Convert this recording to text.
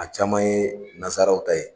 A caman ye nazaraw ta ye.